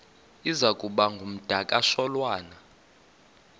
iza kuba ngumdakasholwana